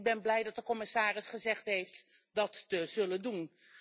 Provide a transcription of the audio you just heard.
Ik ben blij dat de commissaris gezegd heeft dat te zullen doen.